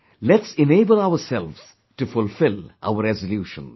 Let's enable ourselves to fulfill our resolutions